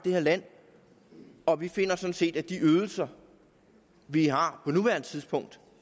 land og vi finder sådan set at de ydelser vi har på nuværende tidspunkt